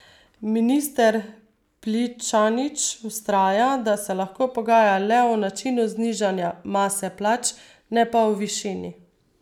Minister Pličanič vztraja, da se lahko pogaja le o načinu znižanja mase plač, ne pa o višini.